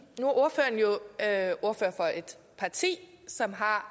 at er ordfører for et parti som har